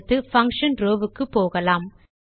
அடுத்து function row வுக்கு போகலாம்